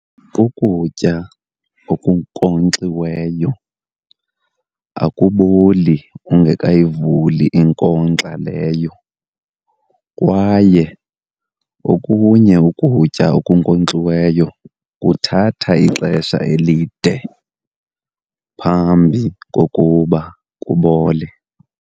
Ukutya okunkonkxiweyo akuboli ungekayivuli inkonkxa leyo kwaye okunye ukutya okunkonkxiweyo kuthatha ixesha elide phambi kokuba kubole.